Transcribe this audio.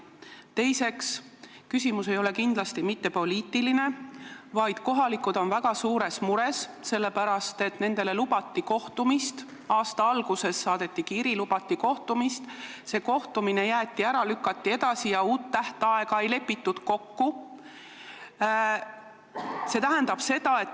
Teiseks, küsimus ei ole kindlasti mitte poliitiline, vaid kohalikud inimesed on väga suures mures, sest nendele lubati kohtumist, aasta alguses saadeti kiri, lubati kohtumist, see jäeti ära või lükati edasi ja uut tähtaega kokku ei lepitud.